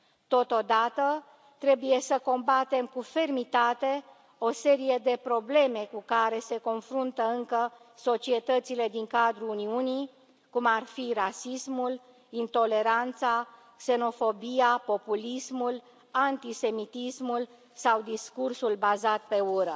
Totodată, trebuie să combatem cu fermitate o serie de probleme cu care se confruntă încă societățile din cadrul Uniunii, cum ar fi rasismul, intoleranța, xenofobia, populismul, antisemitismul sau discursul bazat pe ură.